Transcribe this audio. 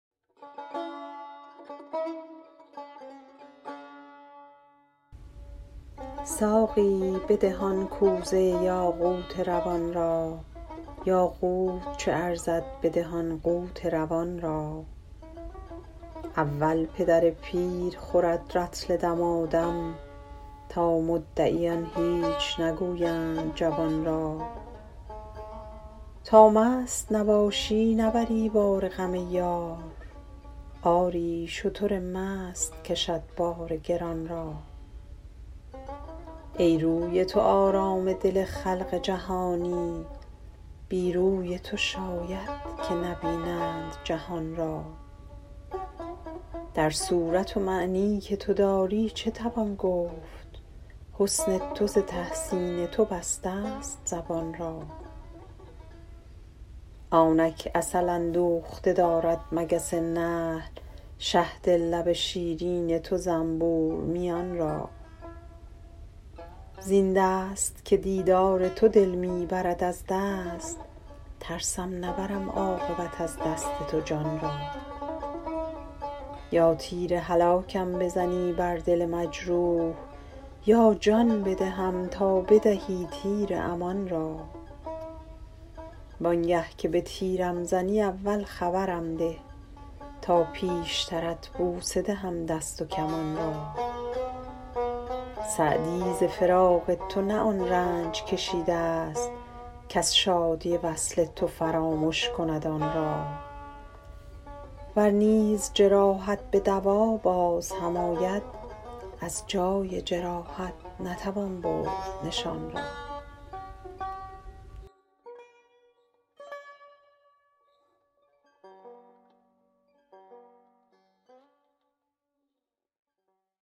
ساقی بده آن کوزه یاقوت روان را یاقوت چه ارزد بده آن قوت روان را اول پدر پیر خورد رطل دمادم تا مدعیان هیچ نگویند جوان را تا مست نباشی نبری بار غم یار آری شتر مست کشد بار گران را ای روی تو آرام دل خلق جهانی بی روی تو شاید که نبینند جهان را در صورت و معنی که تو داری چه توان گفت حسن تو ز تحسین تو بستست زبان را آنک عسل اندوخته دارد مگس نحل شهد لب شیرین تو زنبور میان را زین دست که دیدار تو دل می برد از دست ترسم نبرم عاقبت از دست تو جان را یا تیر هلاکم بزنی بر دل مجروح یا جان بدهم تا بدهی تیر امان را وان گه که به تیرم زنی اول خبرم ده تا پیشترت بوسه دهم دست و کمان را سعدی ز فراق تو نه آن رنج کشیدست کز شادی وصل تو فرامش کند آن را ور نیز جراحت به دوا باز هم آید از جای جراحت نتوان برد نشان را